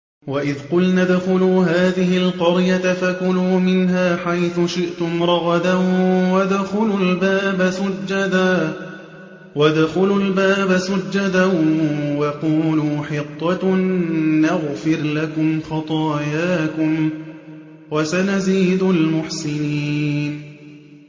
وَإِذْ قُلْنَا ادْخُلُوا هَٰذِهِ الْقَرْيَةَ فَكُلُوا مِنْهَا حَيْثُ شِئْتُمْ رَغَدًا وَادْخُلُوا الْبَابَ سُجَّدًا وَقُولُوا حِطَّةٌ نَّغْفِرْ لَكُمْ خَطَايَاكُمْ ۚ وَسَنَزِيدُ الْمُحْسِنِينَ